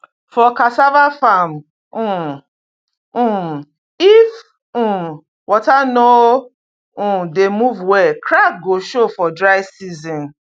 for cassava farm um um if um water no um dey move well crack go show for dry season